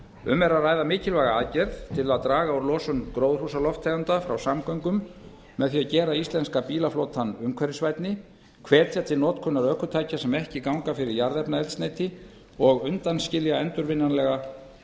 um er að ræða mikilvæga aðgerð til að draga úr losun gróðurhúsalofttegunda frá samgöngum með því að gera íslenska bílaflotann umhverfisvænni hvetja til notkunar ökutækja sem ekki ganga fyrir jarðefnaeldsneyti og undanskilja endurvinnanlega